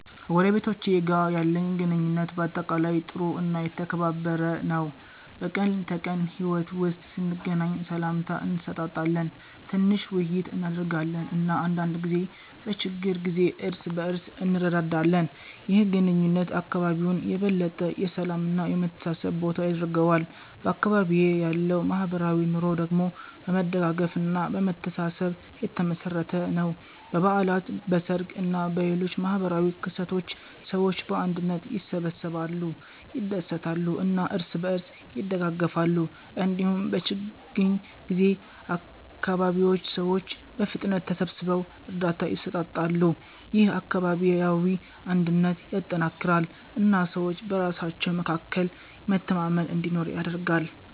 ከጎረቤቶቼ ጋር ያለኝ ግንኙነት በአጠቃላይ ጥሩ እና የተከባበረ ነው። በቀን ተቀን ሕይወት ውስጥ ስንገናኝ ሰላምታ እንሰጣጣለን፣ ትንሽ ውይይት እናደርጋለን እና አንዳንድ ጊዜ በችግር ጊዜ እርስ በእርስ እንረዳዳለን። ይህ ግንኙነት አካባቢውን የበለጠ የሰላም እና የመተሳሰብ ቦታ ያደርገዋል። በአካባቢዬ ያለው ማህበራዊ ኑሮ ደግሞ በመደጋገፍ እና በመተሳሰብ የተመሠረተ ነው። በበዓላት፣ በሰርግ እና በሌሎች ማህበራዊ ክስተቶች ሰዎች በአንድነት ይሰበሰባሉ፣ ይደሰታሉ እና እርስ በእርስ ይደጋገፋሉ። እንዲሁም በችግኝ ጊዜ አካባቢው ሰዎች በፍጥነት ተሰብስበው እርዳታ ይሰጣሉ። ይህ አካባቢያዊ አንድነትን ያጠናክራል እና ሰዎች በራሳቸው መካከል መተማመን እንዲኖር ያደርጋል።